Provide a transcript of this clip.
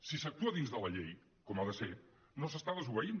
si s’actua dins de la llei com ha de ser no s’està desobeint